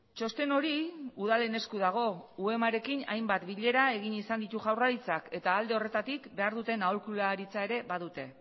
txosten hori udalen esku dago uemarekin hainbat bilera egin izan ditu jaurlaritzak eta alde horretatik behar duten aholkularitza ere badute